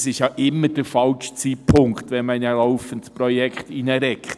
Der Zeitpunkt ist ja immer falsch, wenn man in ein laufendes Projekt eingreift.